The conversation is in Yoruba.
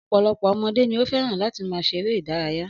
Ọ̀pọ̀lọpọ̀ ọmọdé ni ó fẹ́ràn láti máa ṣe eré-idárayá.